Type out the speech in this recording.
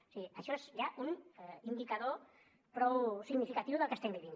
o sigui això és ja un indicador prou significatiu del que estem vivint